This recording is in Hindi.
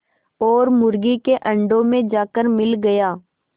और मुर्गी के अंडों में जाकर मिल गया